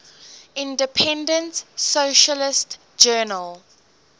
independent socialist journal